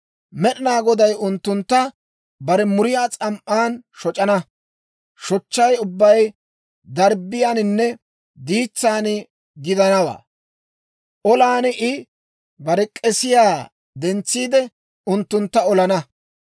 Med'inaa Goday unttuntta bare muriyaa s'am"an shoc'ana shochchay ubbay darbbiyaaninne diitsaan gidanawaa. Olan I bare k'eesiyaa dentsiide, unttuntta olana.